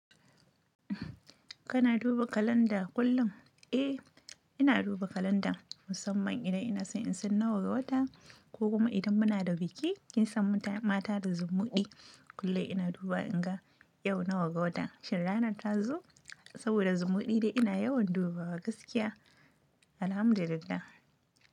Kana duba kalanda kullum? Eh, ina duba kalanda musamman idan ina so in san nawa ga wata ko kuma idan muna da biki. Kin san mun mata da zumuɗi, kullum ina duba in ga yau nawa gaba wata, shin ranar ta zo? Saboda zumuɗi dai ina yawan duba gaskiya. Alhamdulillah.